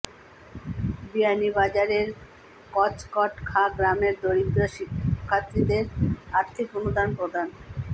বিয়ানীবাজারের কচকট খাঁ গ্রামের দরিদ্র শিক্ষার্থীদের আর্থিক অনুদান প্রদান